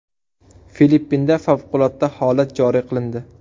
Filippinda favqulodda holat joriy qilindi.